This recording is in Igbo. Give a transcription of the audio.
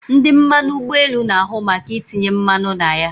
Ndị mmanụ ụgbọelu na ahu maka itinye mmanụ na ya